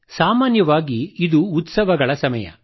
ಸಾಮಾನ್ಯವಾಗಿ ಇದು ಉತ್ಸವಗಳ ಸಮಯ